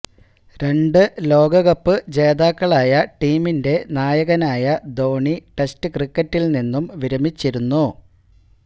രണ്ടു ലോകകപ്പ് ജേതാക്കളായ ടീമിന്റെ നായകനായ ധോണി ടെസ്റ്റ് ക്രിക്കറ്റില് നിന്നും വിരമിച്ചിരുന്നു